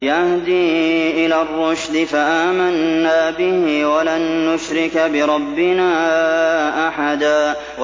يَهْدِي إِلَى الرُّشْدِ فَآمَنَّا بِهِ ۖ وَلَن نُّشْرِكَ بِرَبِّنَا أَحَدًا